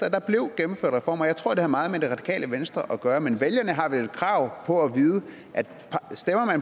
at der blev gennemført reformer og jeg tror at det har meget med radikale venstre at gøre men vælgerne har vel krav på at